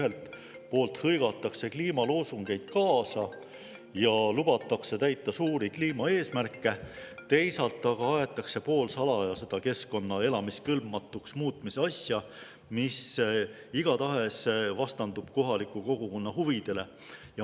Ühelt poolt hõigatakse kliimaloosungeid kaasa ja lubatakse täita suuri kliimaeesmärke, teisalt aga aetakse poolsalaja keskkonna elamiskõlbmatuks muutmise asja, mis igatahes vastandub kohaliku kogukonna huvidele.